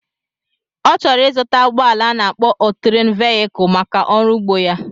Ọ chọrọ ịzụta ụgbọala a na-akpo ọtérén véyikul maka ọrụ ugbo ya